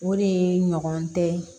O de ɲɔgɔn tɛ